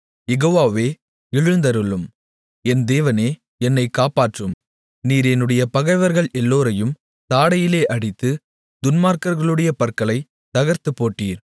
யெகோவாவே எழுந்தருளும் என் தேவனே என்னை காப்பாற்றும் நீர் என்னுடைய பகைவர்கள் எல்லோரையும் தாடையிலே அடித்து துன்மார்க்கர்களுடைய பற்களைத் தகர்த்துப்போட்டீர்